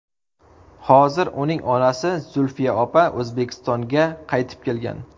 Hozir uning onasi Zulfiya opa O‘zbekistonga qaytib kelgan.